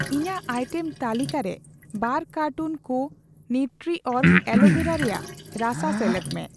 ᱤᱧᱟᱜ ᱟᱭᱴᱮᱢ ᱛᱟᱹᱞᱤᱠᱟ ᱨᱮ ᱵᱟᱨ ᱠᱟᱨᱴᱩᱱ ᱠᱩ ᱱᱤᱣᱴᱨᱤᱚᱨᱜ ᱟᱞᱳᱵᱷᱮᱨᱟ ᱨᱮᱭᱟᱜ ᱨᱟᱥᱟ ᱥᱮᱞᱮᱫ ᱢᱮ᱾